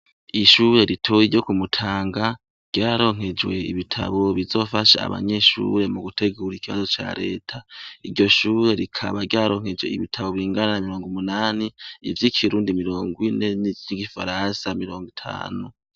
Ishure ritoyi ryo ku Mutanga ryararonkejwe ibitabo bizofasha abanyeshure mu gutegura ikibazo ca reta, iryo shure rikaba ryaronkejwe ibitabo bingana na mirongo umunani, ivy'ikirundi mirongo ine, ivy'igifaransa mirongo itanu.